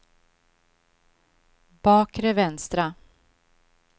bakre vänstra